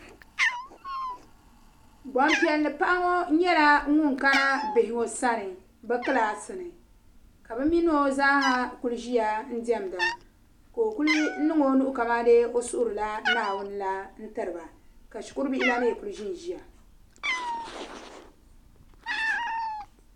Gban piɛli paɣa ŋɔ nyala ŋun ka na ŋɔ sani bɛ kilaasini ka bɛminɔ zaaha kuli ʒiya n demda ka ɔkuli niŋ ɔnuhi kamaa de. ɔsuhuri la Naawuni la n tiriba ka shikuru bihi la mi kuli ʒinʒiya